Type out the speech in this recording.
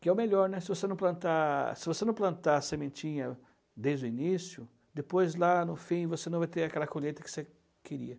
que é o melhor, se você não plantar se você não plantar a sementinha desde o início, depois lá no fim você não vai ter aquela colheita que você queria.